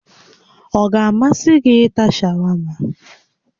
Ọ ga-amasị gị ịta shawama?